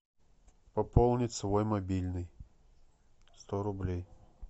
пополнить свой мобильный сто рублей